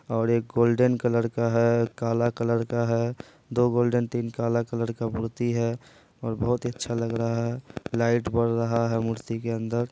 और एक golden colour का है काला कलर का है दो गोल्डेन तीन काला कलर का मूर्ति है और बहुत ही अच्छा लग रहा है| लाईट बर रहा है मूर्ति के अंदर|